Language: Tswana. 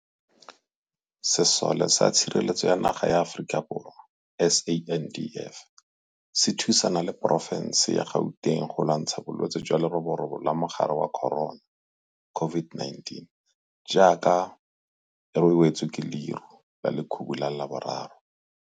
Sesole sa Tshireletso ya Naga ya Aforika Borwa, SANDF, se thusana le porofense ya Gauteng go lwantsha Bolwetse jwa Leroborobo la Mogare wa Corona, COVID-19, jaaka e we tswe ke leru la lekhubu la boraro.